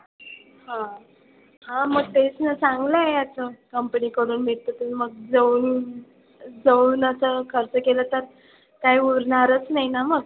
हां, हां मग तेच ना चांगलं आहे याचं company कडून मिळतं ते मग जवळून जवळून असं खर्च केलं तर काय उरणारच नाही ना मग.